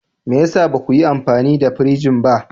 Me ya sa ba ku yi amfani da firij ba?